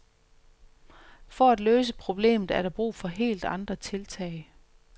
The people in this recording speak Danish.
For at løse problemet er der brug for helt andre tiltag.